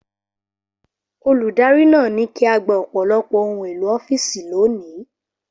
Olùdarí náà ní kí á gba ọ̀pọ̀lọpọ̀ ohun èlò ọ́fíìsì lónìí.